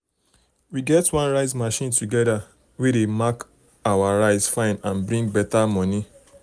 we get one rice machine together wey dey make our rice fine and bring um better money.